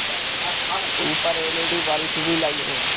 ऊपर LED bulb भी लगी हैं।